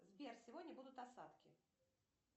сбер сегодня будут осадки